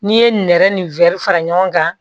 N'i ye nɛrɛ ni wɛri fara ɲɔgɔn kan